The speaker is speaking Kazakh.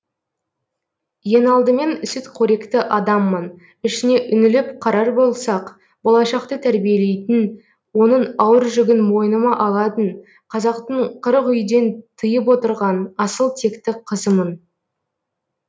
ең алдымен сүтқоректі адаммын ішіне үңіліп қарар болсақ болашақты тәрбиелейтін оның ауыр жүгін мойныма алатын қазақтың қырық үйден тыйып отырған асыл текті қызымын